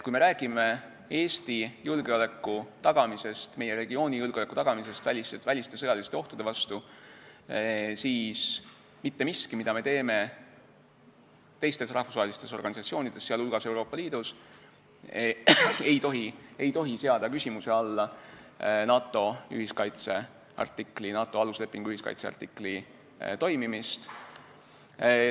Kui me räägime Eesti ja meie regiooni julgeoleku tagamisest, kaitstes ennast väliste sõjaliste ohtude vastu, siis mitte miski, mida me teeme teistes rahvusvahelistes organisatsioonides, sh Euroopa Liidus, ei tohi seada küsimuse alla NATO aluslepingu ühiskaitse artikli toimimist.